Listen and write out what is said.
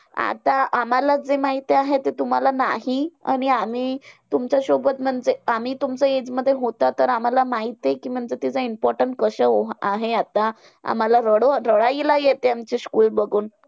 आता आम्हांला जे माहिती आहे ते तुम्हांला नाही. आणि आम्ही तुमच्यासोबत म्हणजे आम्ही तुमच्या age मध्ये होता. तर आम्हांला माहितीये कि कि म्हणजे त्याचं importance कसं हो आहे. आता आम्हांला रडो रडायला येते आमची school बघून.